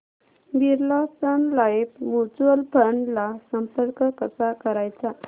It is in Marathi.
Birla Sun Life mutual fund ला संपर्क कसा करायचा